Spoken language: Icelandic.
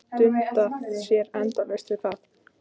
Gat dundað sér endalaust við það.